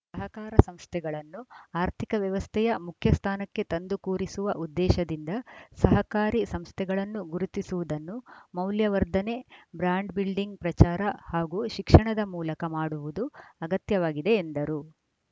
ಸಹಕಾರ ಸಂಸ್ಥೆಗಳನ್ನು ಆರ್ಥಿಕ ವ್ಯವಸ್ಥೆಯ ಮುಖ್ಯ ಸ್ಥಾನಕ್ಕೆ ತಂದು ಕೂರಿಸುವ ಉದ್ದೇಶದಿಂದ ಸಹಕಾರಿ ಸಂಸ್ಥೆಗಳನ್ನು ಗುರುತಿಸುವುದನ್ನು ಮೌಲ್ಯವರ್ಧನೆ ಬ್ರಾಂಡ್‌ ಬಿಲ್ಡಿಂಗ್‌ ಪ್ರಚಾರ ಹಾಗೂ ಶಿಕ್ಷಣದ ಮೂಲಕ ಮಾಡುವುದು ಅಗತ್ಯವಾಗಿದೆ ಎಂದರು